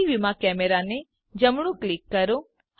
3ડી વ્યુંમાં કેમેરાને જમણું ક્લિક કરો